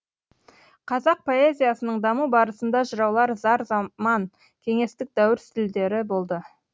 қазақ поэзиясының даму барысында жыраулар зар заман кеңестік дәуір стильдері болды